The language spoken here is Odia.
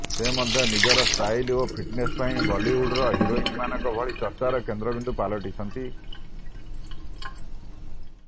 ସେ ମଧ୍ୟ ନିଜର ଷ୍ଟାଇଲ ଓ ଫିଟନେସ ପାଇଁ ବଲିଉଡର ହିରୋଇନମାନଙ୍କ ଭଳି ଚର୍ଚ୍ଚାର କେନ୍ଦ୍ରବିନ୍ଦୁ ପାଲଟିଛନ୍ତି